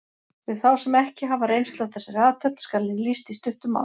Fyrir þá sem ekki hafa reynslu af þessari athöfn skal henni lýst í stuttu máli.